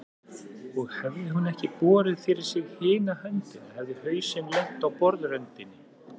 Og hefði hún ekki borið fyrir sig hina höndina hefði hausinn lent á borðröndinni.